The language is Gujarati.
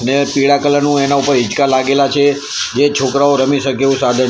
બે પીડા કલર નુ એના ઉપર હિંચકા લાગેલા છે જે છોકરાઓ રમી શકે એવુ સાધન --